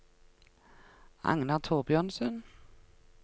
Agnar Thorbjørnsen